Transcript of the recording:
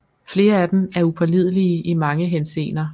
Flere af dem er upålidelige i mange henseender